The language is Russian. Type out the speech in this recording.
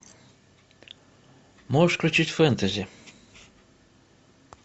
можешь включить фэнтази